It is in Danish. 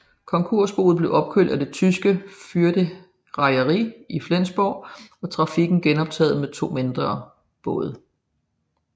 Konkursboet blev købt af det tyske Förde Reederei i Flensborg og trafikken genoptaget med to mindre både